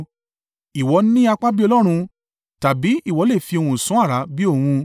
Ìwọ ni apá bí Ọlọ́run tàbí ìwọ lè fi ohùn sán àrá bí òun?